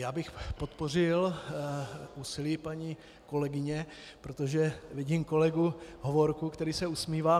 Já bych podpořil úsilí paní kolegyně, protože vidím kolegu Hovorku, který se usmívá.